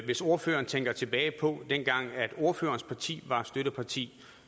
hvis ordføreren tænker tilbage på dengang da ordførerens parti var støtteparti